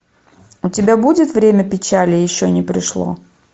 у тебя будет время печали еще не пришло